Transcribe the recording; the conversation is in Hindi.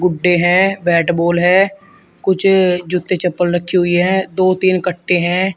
गुड्डे हैं। बैट -बॉल हैं। कुछ जूते चप्पल रखी हुई हैं। दो तीन कट्टे हैं।